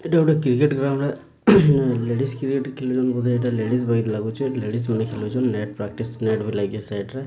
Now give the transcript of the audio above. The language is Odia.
ଏଟା ଗୋଟେ କ୍ରିକେଟ୍ ଖେଳାଯାଏ ଲେଡିଜ କ୍ରିକେଟ୍ ଲେଡ଼ିଜ୍ ମାନେ ଖେଳୁଚନ୍ ନେଟ୍ ପ୍ରାଟିସ ନେଟ ଲାଗିଚି ସେଟ୍ ରେ।